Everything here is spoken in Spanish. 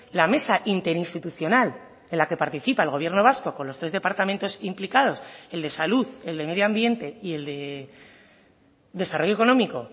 la mesa interinstitucional en la que participa el gobierno vasco con los tres departamentos implicados el de salud el de medio ambiente y el desarrollo económico